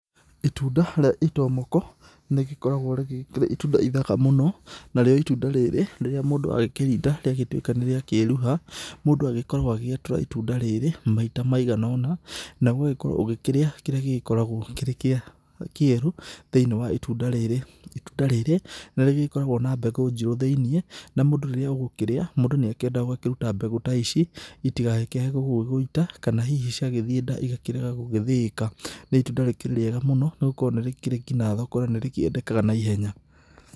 Itũnda rĩa itomoko, nĩgĩkoragwo rĩrĩ itũnda ĩthaka mũno, narĩo itũnda rĩrĩ rĩrĩa mũndũ akĩrĩnda rĩa gĩtũeka nĩ rĩa kũerũha. Mũndũ agĩkoragwo agĩatura ĩtũnda rĩrĩ maĩta maĩgana ona, naguo ũgagĩkoro ũkĩrĩa kĩrĩa gĩgĩkoragwo kĩrĩ kĩa kerũ thĩinĩ wa ĩtũnda rĩrĩ. Itũnda rĩrĩ nĩgĩkoragwo na mbegũ jĩrũ thĩinĩ na mũndũ rĩrĩa ũgĩkũrĩa, mũndũ nĩendaga gũkĩrũta mbegũ ta ici ĩtĩkae gũgũĩta kana hĩhĩ cĩagĩthĩe nda ĩgakĩrega gũgĩthĩĩka. Nĩ ĩtũnda rĩkĩrĩ riega mũno nĩ gũkorwo nĩ rĩkĩrĩ ngĩnya thoko na nĩ rĩedeka naĩhenya.